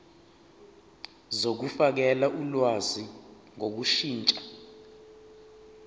zokufakela ulwazi ngokushintsha